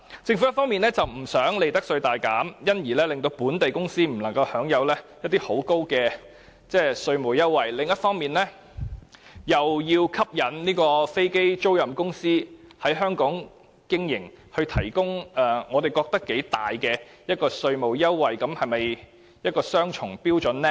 政府一方面不想利得稅大減，而致令本地公司不能享有很高的稅務優惠，另一方面，又想吸引飛租賃公司在香港經營而提供我們認為頗大的稅務優惠，這樣是否雙重標準呢？